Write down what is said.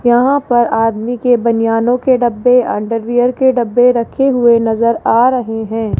यहां पर आदमी के बनियानों के डब्बे अंडरवियर के डब्बे रखे हुए नजर आ रहे हैं।